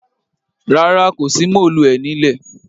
Rárá, kò sí móòluẹ̀ ní lẹ̀.